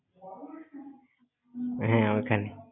হ্যাঁ, ওইখানে।